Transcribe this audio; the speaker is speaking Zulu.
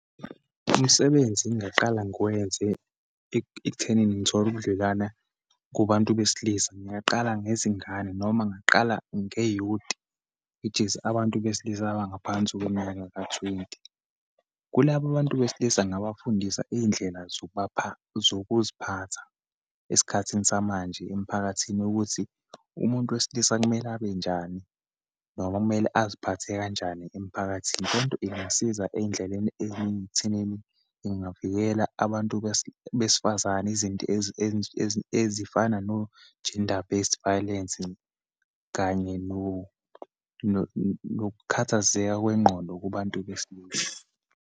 Umsebenzi engingaqala ngiwenze ekuthenini ngithole ubudwelana kubantu besilisa. Ngingaqala ngezingane, noma ngingaqala nge-youth, which is abantu besilisa abangaphansi kweminyaka ka-twenty. Kulaba bantu besilisa, ngingabafundisa iyindlela zokubapha, zokuziphatha esikhathini samanje emphakathini, ukuthi umuntu wesilisa kumele abenjani, noma kumele aziphathe kanjani emphakathini. Lento ingasiza eyindleleni eyiningi ekuthenini ingavikela abantu besifazane, izinto ezifana no-gender based violence, kanye nokukhathazeka kwengqondo kubantu besilisa.